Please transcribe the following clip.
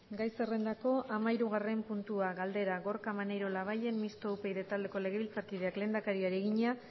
gai zerrendako hamahirugarren puntua galdera gorka maneiro labayen mistoa upyd taldeko legebiltzarkideak lehendakariari egina